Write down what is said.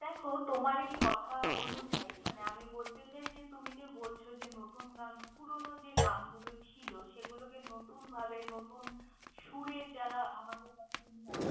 দ্যাখো! তোমার এই কথা অনুযায়ী মানে আমি বলতে চাই যে তুমি যে বলছ যে নতুন গান পুরোনো যে গানগুলো ছিল, সেগুলোকে নতুনভাবে নতুন সুরে যারা আমাদের কাছে নিয়ে আসছে।